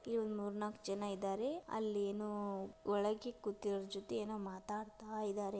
ಇವು ಮೂರ್ ನಾಕ್ ಜನ ಇದಾರೆ ಅಲ್ಲೇನೋ ವಳಗೆ ಕೂತಿರೋ ಜೊತೆ ಏನೋ ಮಾತಾಡ್ತಾ ಇದಾರೆ.